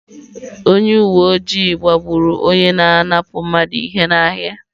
Onye uwe ojii gbagburu onye na-apụnara mmadụ ihe n’ahịa.